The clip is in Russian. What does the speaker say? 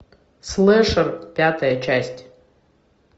слэшер пятая часть